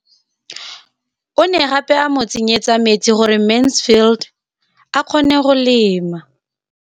O ne gape a mo tsenyetsa metsi gore Mansfield a kgone go lema.